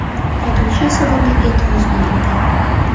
Haydovchi esa bunga e’tiroz bildirdi .